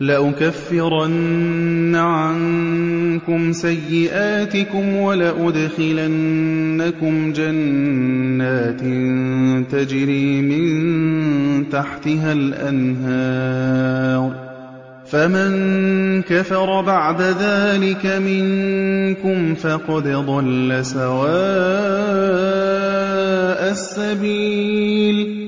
لَّأُكَفِّرَنَّ عَنكُمْ سَيِّئَاتِكُمْ وَلَأُدْخِلَنَّكُمْ جَنَّاتٍ تَجْرِي مِن تَحْتِهَا الْأَنْهَارُ ۚ فَمَن كَفَرَ بَعْدَ ذَٰلِكَ مِنكُمْ فَقَدْ ضَلَّ سَوَاءَ السَّبِيلِ